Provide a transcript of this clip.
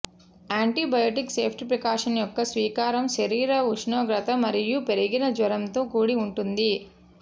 antibiotic ceftriaxone యొక్క స్వీకారం శరీర ఉష్ణోగ్రత మరియు పెరిగిన జ్వరంతో కూడి ఉంటుంది